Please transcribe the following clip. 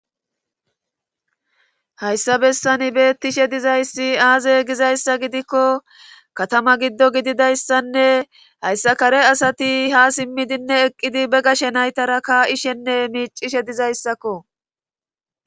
Hayssa bessani beettishe dizay aaze gizyayssa gidikko katama giddo gididayssanne hayssa kare asati ha simmidinne eqqidi be gashe naytara kaa7ishenne miiccishe dizayssako.